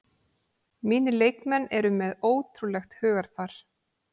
Mínir leikmenn eru með ótrúlegt hugarfar